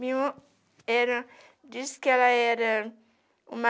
Minha irmã era... Disse que ela era uma...